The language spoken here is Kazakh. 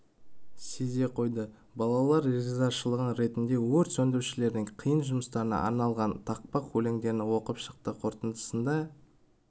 сезе қойды балалар ризашылық ретінде өрт сөндірушілердің қиын жұмыстарына арналған тақпақ өлеңдерін оқып шықты қорытындысында